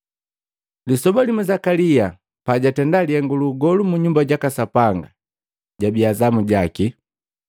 Lisoba limu, Zakalia pajatenda lihengu luugolu mu Nyumba jaka Sapanga, jabia zamu jaki.